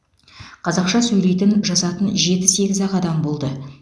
қазақша сөйлейтін жазатын жеті сегіз ақ адам болды